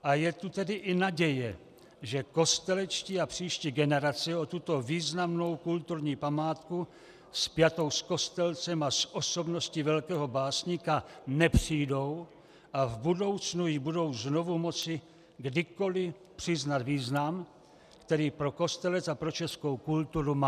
A je tu tedy i naděje, že Kostelečtí a příští generace o tuto významnou kulturní památku, spjatou s Kostelcem a s osobností velkého básníka nepřijdou a v budoucnu jí budou znovu moci kdykoli přiznat význam, který pro Kostelec a pro českou kulturu má.